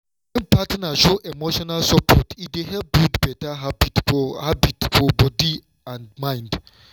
wen partner show emotional support e dey help build better habit for habit for body and mind.